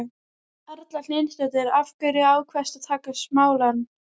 Erla Hlynsdóttir: Af hverju ákvaðstu að taka smálán?